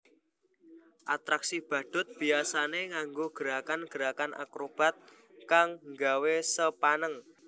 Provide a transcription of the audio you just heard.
Atraksi badhut biyasané nganggo gerakan gerakan akrobat kang nggawé sepaneng